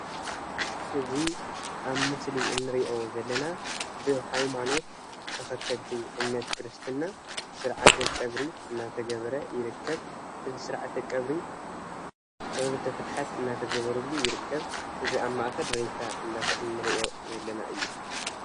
እዚ ኣብ ምስል እንርእዮ ዘለና ብሃይማኖት ተከተልቲ እምነት ክርስትና ስርዓተ ቀብሪ እናተገበረ ይርከብ። እዙይ ስርዓተ ቀብሪ ፆሎተ ፍትሓት እናተገበረሉ ይርከብ። እቱይ ሬሳ ኣብ ማእከል እንርእዮ ዘለና እዩ።